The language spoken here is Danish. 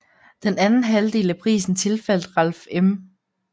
Den anden halvdel af prisen tilfaldt Ralph M